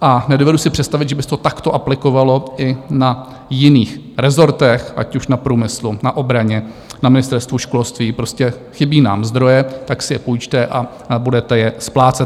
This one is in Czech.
a nedovedu si představit, že by se to takto aplikovalo i na jiných rezortech, ať už na průmyslu, na obraně, na Ministerstvu školství - prostě chybí nám zdroje, tak si je půjčte a budete je splácet.